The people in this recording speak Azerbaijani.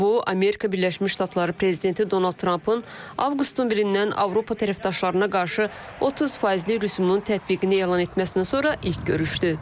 Bu, Amerika Birləşmiş Ştatları prezidenti Donald Trampın avqustun birindən Avropa tərəfdaşlarına qarşı 30 faizli rüsumun tətbiqini elan etməsindən sonra ilk görüşdür.